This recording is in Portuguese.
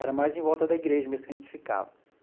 Era mais em volta da igreja mesmo que a gente ficava.